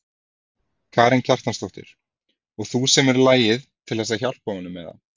Karen Kjartansdóttir: Og þú semur lagið til þess að hjálpa honum eða?